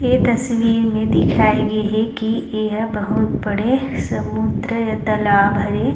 ए तस्वीर मे दिखाई गे हे की एहा बहुत बड़े समुन्द्र या तालाब हरे।